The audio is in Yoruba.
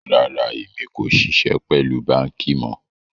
Rárá, ẹ̀mi kò ṣíṣẹ̀ pẹ̀lú bankí mọ̀.